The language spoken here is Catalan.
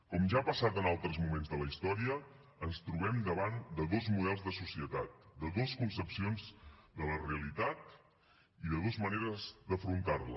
com ja ha passat en altres moments de la història ens trobem davant de dos models de societat de dues concepcions de la realitat i de dues maneres d’afrontar la